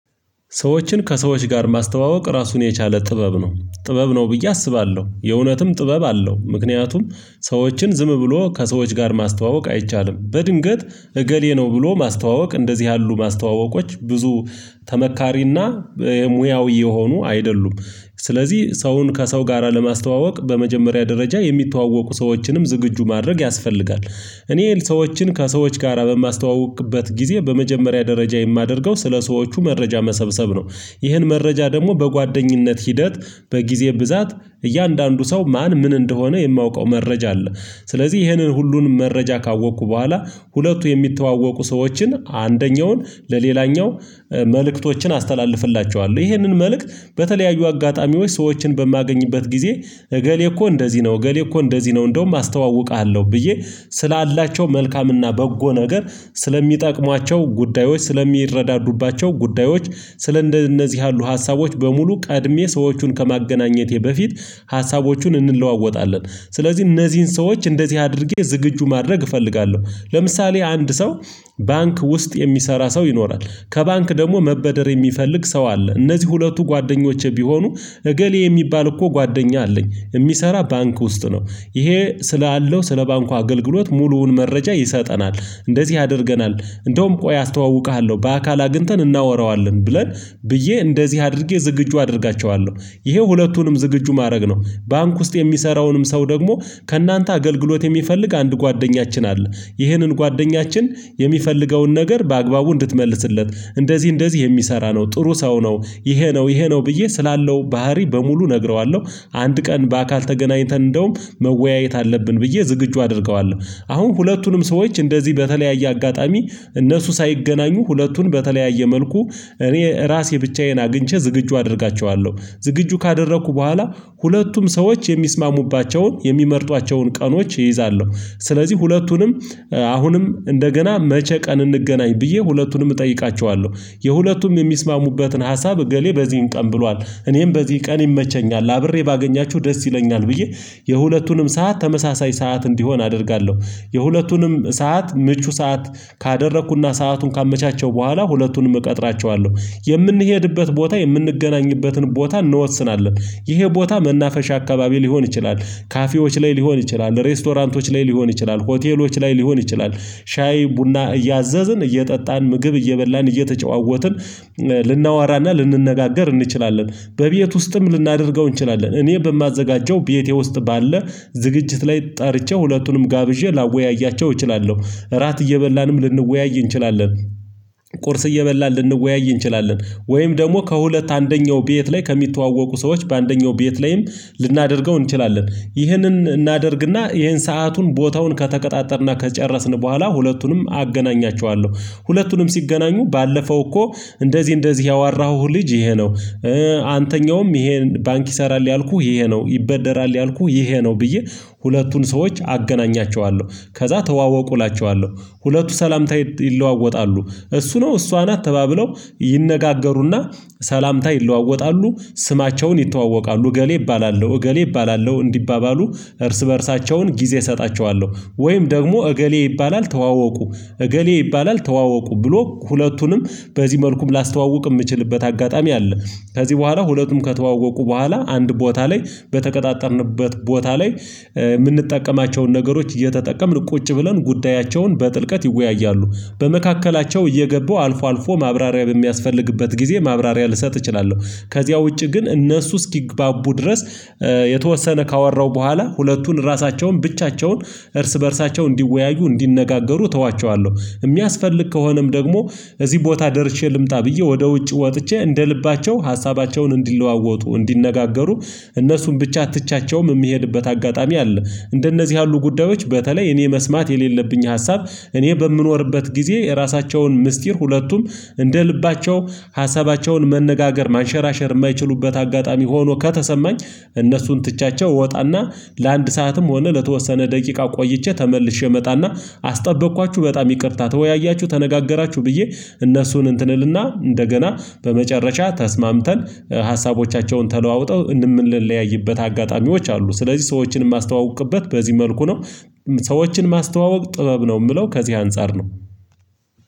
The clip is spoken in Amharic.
ሰዎችን ከሰዎች ጋር ማስተዋወቅ ራሱን የቻለ ጥበብ ነው ጥበብ ነው ብዬ አስባለው የእውነትም ጥበብ አለው። ምክንያቱም ሰዎችን ዝም ብሎ ከሰዎች ጋር ማስተዋወቅ አይቻልም። በድንገት እገሌ ነው ብሎ ማስተዋወቅ እንደዚህ ያሉ ማስተዋወቆች ብዙ ተመካሪና ሙያዊ የሆኑ አይደሉም። ስለዚህ ሰውን ከሰው ጋራ ለማስተዋወቅ በመጀመሪያ ደረጃ የሚተዋወቁ ሰዎችንም ዝግጁ ማድረግ ያስፈልጋል። እኔ ሰዎችን ከሰዎች ጋራ በማስተዋውቅበት ጊዜ በመጀመሪያ ደረጃ የማደርገው ስለሰዎቹ መረጃ መሰብሰብ ነው። ይህን መረጃ ደግሞ በጓደኝነት ሂደት በጊዜ ብዛት እያንዳንዱ ሰው ማን ምን እንደሆነ የማውቀው መረጃ አለ። ስለዚህ ይህንን ሁሉንም መረጃ ካወቅኩ በኋላ ሁለቱ የሚተዋወቁ ሰዎችን አንደኛውን ለሌላኛው መልእክቶችን አስተላልፍላቸዋለሁ። ይህንን መልእክት በተለያዩ አጋጣሚዎች ሰዎችን በማገኝበት ጊዜ እገሌ እኮ እንደዚህ ነው እገሌ እኮ እንደዚህ ነው እንደውም አስተዋውቃለው ብዬ ስላላቸው መልካምና በጎ ነገር ስለሚጠቅሟቸው ጉዳዮች ስለሚረዳዱባቸው ጉዳዮች ስለ እንደነዚህ ያሉ ሀሳቦች በሙሉ ቀድሜ ሰዎቹን ከማገናኘቴ በፊት ሀሳቦቹን እንለዋወጣለን። ስለዚህ እነዚህን ሰዎች እንደዚህ አድርጌ ዝግጁ ማድረግ እፈልጋለው። ለምሳሌ አንድ ሰው ባንክ ውስጥ የሚሰራ ሰው ይኖራል ከባንክ ደግሞ መበደር የሚፈልግ ሰው አለ እነዚህ ሁለቱ ጓደኞቼ ቢሆኑ እገሌ የሚባል እኮ ጓደኛ አለኝ የሚሰራ ባንክ ውስጥ ነው ይሄ ስላለው ስለ ባንኩ አገልግሎት ሙሉውን መረጃ ይሰጠናል። እንደዚህ አድርገናል እንደውም ቆይ አስተዋውቅሃለው በአካል አግኝተን እናወራዋለን ብለን ብዬ እንደዚህ አድርጌ ዝግጁ አደርጋቸዋለው። ይሄ ሁለቱንም ዝግጁ ማድረግ ነው። ባንክ ውስጥ የሚሰራውንም ሰው ደግሞ ከእናንተ አገልግሎት የሚፈልግ አንድ ጓደኛችን አለ። ይህንን ጓደኛችን የሚፈልገውን ነገር በአግባቡ እንድትመልስለት እንደዚህ እንደዚህ የሚሰራ ነው ጥሩ ሰው ነው። ይሄ ነው ይሄ ነው ብዬ ስላለው ባህሪ በሙሉ እነግረዋለው። አንድ ቀን በአካል ተገናኝተን እንደውም መወያየት አለብን ብዬ ዝግጁ አደርገዋለው። አሁን ሁለቱንም ሰዎች እንደዚህ በተለያየ አጋጣሚ እነሱ ሳይገናኙ ሁለቱን በተለያየ መልኩ እኔ ራሴ ብቻዬን አግኝቼ ዝግጁ አደርጋቸዋለሁ ዝግጁ ካደረኩ በኋላ ሁለቱም ሰዎች የሚስማሙባቸውን የሚመርጧቸውን ቀኖች ይይዛለሁ። ስለዚህ ሁለቱንም አሁንም እንደገና መቼ ቀን እንገናኝ ብዬ ሁለቱንም እጠይቃቸዋለሁ? የሁለቱም የሚስማሙበትን ሀሳብ እገሌ በዚህም ቀን ብሏል እኔም በዚህ ቀን ይመቸኛል አብሬ ባገኛችሁ ደስ ይለኛል ብዬ የሁለቱንም ሰዓት ተመሳሳይ ሰዓት እንዲሆን አደርጋለው። የሁለቱንም ሰዓት ምቹ ሰዓት ካደረኩና ሰአቱን ካመቻቸው በኋላ ሁለቱንም እቀጥራቸዋለው የምንሄድበት ቦታ የምንገናኝበትን ቦታ እንወስናለን። ይሄ ቦታ መናፈሻ አካባቢ ሊሆን ይችላል ካፌዎች ላይ ሊሆን ይችላል ሬስቶራንቶች ላይ ሊሆን ይችላል ሆቴሎች ላይ ሊሆን ይችላል። ሻይ ቡና እያዘዝን እየጠጣን ምግብ እየበላን እየተጨዋወትን ልናወራና ልንነጋገር እንችላለን። በቤት ውስጥም ልናደርገው እንችላለን እኔ በማዘጋጀው ቤቴ ውስጥ ባለ ዝግጅት ላይ ጠርቼ ሁለቱንም ጋብዤ ላወያያቸው እችላለው። እራት እየበላንም ልንወያይ እንችላለን። ቁርስ እየበላን ልንወያይ እንችላለን። ወይም ደግሞ ከሁለት አንደኛው ቤት ላይ ከሚተዋወቁ ሰዎች በአንደኛው ቤት ላይም ልናደርገው እንችላለን። ይህንን እናደርግና ይሄን ሰአቱን ቦታውን ከተቀጣጠር እና ከጨረስን በኋላ ሁለቱንም አገናኛቸዋለሁ። ሁለቱንም ሲገናኙ ባለፈው እኮ እንደዚህ እንደዚህ ያዋራሁህ ልጅ ይሄ ነው። አንተኛውም ይሄን ባንክ ይሰራል ያልኩህ ይሄ ነው ይበደራል ያልኩት ይሄ ነው ብዬ ሁለቱን ሰዎች አገናኛቸዋለሁ ከዛ ተዋወቁ እላቸዋለው። ሁለቱ ሰላምታ ይለዋወጣሉ። እሱ ነው እሷ ናት ተባብለው ይነጋገሩና ሰላምታ ይለዋወጣሉ። ስማቸውን ይተዋወቃሉ እገሌ እባላለው እገሌ እባላለው እንዲባባሉ እርስ በእርሳቸውን ጊዜ እሰጣቸዋለው። ወይም ደግሞ እገሌ ይባላል ተዋወቁ እገሌ ይባላል ተዋወቁ ብሎ ሁለቱንም በዚህ መልኩም ላስተዋውቅ የምችልበት አጋጣሚ አለ። ከዚህ በኋላ ሁለቱም ከተዋወቁ በኋላ አንድ ቦታ ላይ በተቀጣጣርንበት ቦታ ላይ የምንጠቀማቸውን ነገሮች እየተጠቀምን ቁጭ ብለን ጉዳያቸውን በጥልቀት ይወያያሉ። በመካከላቸው እየገቡ አልፎ አልፎ ማብራሪያ በሚያስፈልግበት ጊዜ ማብራሪያ ልሰጥ እችላለሁ። ከዚያ ውጪ ግን እነሱ እስኪግባቡ ድረስ የተወሰነ ካወራው በኋላ ሁለቱን ራሳቸውን ብቻቸውን እርስ በእርሳቸው እንዲወያዩ እንዲነጋገሩ እተዋቸዋለው። የሚያስፈልግ ከሆነም ደግሞ እዚህ ቦታ ደርሼ ልምጣ ብዬ ወደ ውጭ ወጥቼ እንደ ልባቸው ሀሳባቸውን እንዲለዋወጡ እንዲነጋገሩ እነሱን ብቻ ትችያቸውም የሚሄድበት አጋጣሚ አለ። እንደነዚህ ያሉ ጉዳዮች በተለይ እኔ መስማት የሌለብኝ ሀሳብ። እኔ በምኖርበት ጊዜ የራሳቸውን ምስጢር ሁለቱም እንደ ልባቸው ሀሳባቸውን መነጋገር ማንሸራሸር የማይችሉበት አጋጣሚ ሆኖ ከተሰማኝ። እነሱን ትቻቸው እወጣና ለአንድ ሰዓትም ሆነ ለተወሰነ ደቂቃ ቆይቼ ተመልሼ እመጣና አስጠበቅኳችሁ በጣም ይቅርታ ተወያያቹ ተነጋገራቹ ብዬ። እነሱን እንትን እልና እንደገና በመጨረሻ ተስማምተን ሀሳቦቻቸውን ተለዋውጠው የምንለያይበት አጋጣሚዎች አሉ። ስለዚህ ሰዎችን የማስተዋውቅበት በዚህ መልኩ ነው። ሰዎችን ማስተዋወቅ ጥበብ ነው የምለው ከዚህ አንፃር ነው።